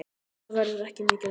Það verður ekki mikið lægra.